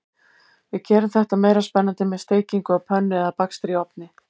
Við gerum þetta meira spennandi með steikingu á pönnu eða bakstri í ofni.